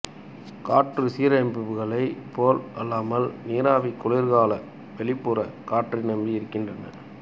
காற்றுச்சீரமைப்பிகளைப் போல் அல்லாமல் நீராவி குளிர்கலன்கள் வெளிப்புற காற்றை நம்பி இருக்கின்றன